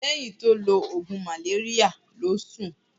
Lehin ti o lo ogun maleria lo sun.